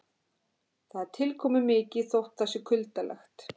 Það er tilkomumikið þótt það sé kuldalegt.